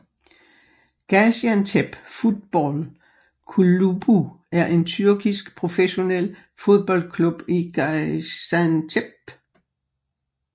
Gaziantep Futbol Kulübü er en tyrkisk professionel fodboldklub i Gaziantep